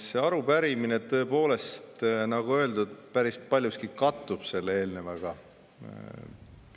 See arupärimine, tõepoolest, nagu öeldud, päris paljuski kattub eelnevaga.